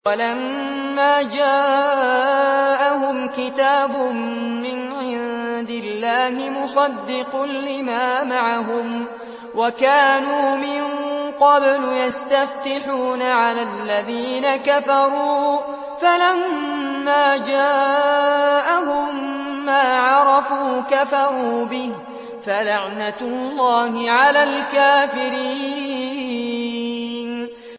وَلَمَّا جَاءَهُمْ كِتَابٌ مِّنْ عِندِ اللَّهِ مُصَدِّقٌ لِّمَا مَعَهُمْ وَكَانُوا مِن قَبْلُ يَسْتَفْتِحُونَ عَلَى الَّذِينَ كَفَرُوا فَلَمَّا جَاءَهُم مَّا عَرَفُوا كَفَرُوا بِهِ ۚ فَلَعْنَةُ اللَّهِ عَلَى الْكَافِرِينَ